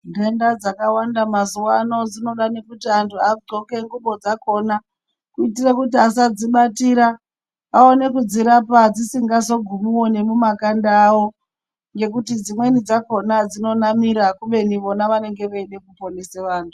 Ntenda dzakawanda mazuvaano dzinofane kuti vantu adxoke ngubo dzakhona kuitire kuti asadzibatira aone kudzirapa dzisingazogumi mumakanda avo ngekuti dzimweni dzakhona dzinonamira kubeni vona vanenge veida kuponesa vantu.